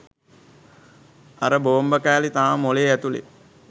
අර බෝම්බ කෑලි තාම මොලේ ඇතුලෙ